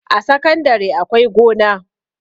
A sakandare akwai gona